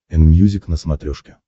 энмьюзик на смотрешке